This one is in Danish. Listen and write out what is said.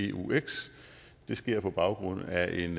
eux det sker på baggrund af en